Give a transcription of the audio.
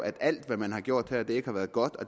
at alt hvad man har gjort her ikke har været godt og